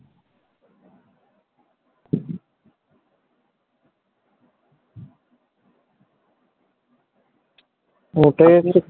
ওটাই হচ্ছে